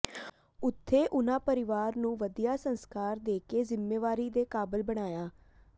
ਉੱਥੇ ਉਨ੍ਹਾ ਪਰਿਵਾਰ ਨੂੰ ਵਧੀਆ ਸੰਸਕਾਰ ਦੇਕੇ ਜ਼ਿੰਮੇਵਾਰੀ ਦੇ ਕਾਬਲ ਬਣਾਇਆ